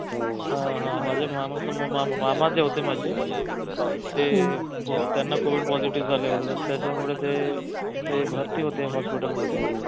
हा हा माझे मामा जे मामा जे होते माझे ते त्यांना covid positive झालं होत त्याच्यामुळे ते ते भरती होते hospital मध्ये